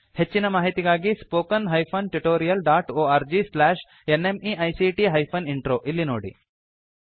ಹೆಚ್ಚಿನ ಮಾಹಿತಿಗಾಗಿ spoken hyphen tutorial dot org slash NMEICT hyphen intro ಇಲ್ಲಿ ನೋಡಿ